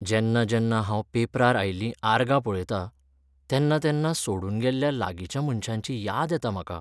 जेन्ना जेन्ना हांव पेपरार आयिल्लीं आर्गां पळयतां, तेन्ना तेन्ना सोडून गेल्ल्या लागिंच्या मनशांची याद येता म्हाका.